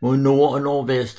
Mod nord og nordvest